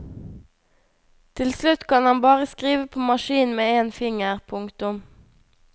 Til slutt kan han bare skrive på maskin med én finger. punktum